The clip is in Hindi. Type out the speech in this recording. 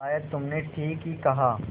शायद तुमने ठीक ही कहा